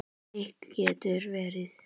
Eik getur verið